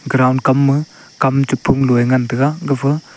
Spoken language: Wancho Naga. ground kam ma kam phumloe ngan taiga gapha.